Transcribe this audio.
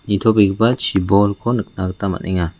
nitobegipa chibolko nikna gita man·enga.